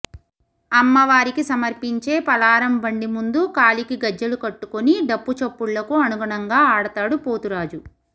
అమ్మవారికి సమర్పించే పలారం బండి ముందు కాలికి గజ్జెలు కట్టుకుని డప్పు చప్పుళ్లకు అనుగుణంగా ఆడతాడు పోతురాజు